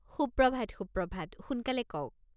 সুপ্রভাত সুপ্রভাত, সোনকালে কওক।